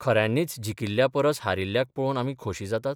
खऱ्यांनीच जिकिल्ल्या परस हारिल्ल्याक पळोवन आमी खोशी जातात?